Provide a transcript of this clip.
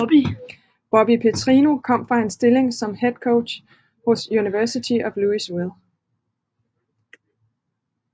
Bobby Petrino kom fra en stilling som head coach hos University of Louisville